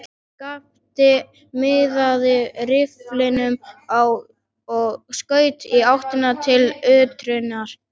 Skapti miðaði rifflinum og skaut í áttina til urtunnar.